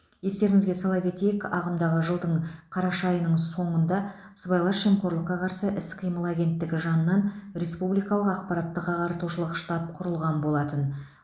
естеріңізге сала кетейік ағымдағы жылдың қараша айының соңында сыбайлас жемқорлыққа қарсы іс қимыл агенттігі жанынан республикалық ақпараттық ағартушылық штаб құрылған болатын